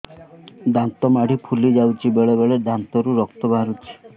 ଦାନ୍ତ ମାଢ଼ି ଫୁଲି ଯାଉଛି ବେଳେବେଳେ ଦାନ୍ତରୁ ରକ୍ତ ବାହାରୁଛି